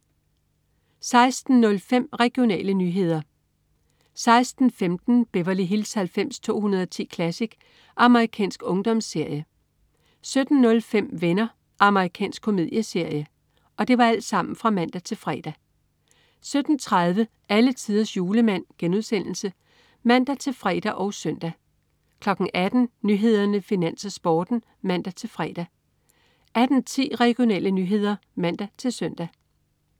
16.05 Regionale nyheder (man-fre) 16.15 Beverly Hills 90210 Classic. Amerikansk ungdomsserie (man-fre) 17.05 Venner. Amerikansk komedieserie (man-fre) 17.30 Alletiders Julemand* (man-fre og søn) 18.00 Nyhederne, Finans, Sporten (man-fre) 18.10 Regionale nyheder (man-søn)